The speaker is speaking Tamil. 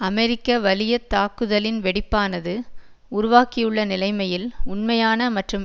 அமெரிக்க வலியத்தாக்குதலின் வெடிப்பானது உருவாக்கியுள்ள நிலைமையில் உண்மையான மற்றும்